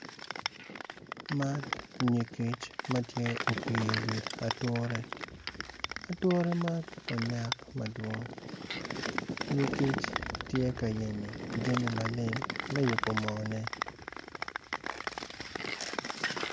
Man nyig kic ma tyeopye i wi ature ature man onyak madwongo nyig kic tye ka yenyo jami malim me yubo mone.